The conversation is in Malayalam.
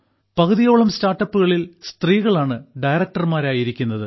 പകുതിയോളം സ്റ്റാർട്ടപ്പുകളിൽ സ്ത്രീകളാണ് ഡയറക്ടർമാരായിരിക്കുന്നത്